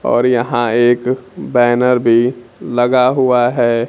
और यहां एक बैनर भी लगा हुआ है।